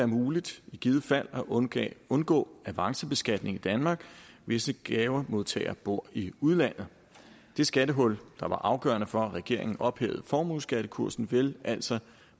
muligt at undgå at undgå avancebeskatning i danmark hvis en gavemodtager bor i udlandet det skattehul der var afgørende for at regeringen ophævede formueskattekursen ville altså